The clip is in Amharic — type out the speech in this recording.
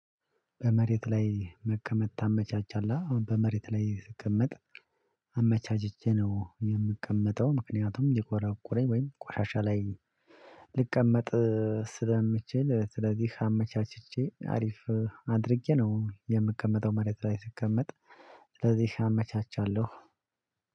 በመሬት ላይ መቀመጥ ታመቻቻለህ? አ በመሬት ላይ ስቀመጥ አመቻችቼ ነው የምቀመጠው ምክንያቱም ሊቆራቁረኝ ወይም ቆሻሻ ላይ ልቀመጥ ስለምችል ስለዚህ አመቻችቼ አሪፍ አድርጌ ነው የምቀመጠው። መሬት ላይ ስቀመጥ ስለዚህ አመቻቻለሁ።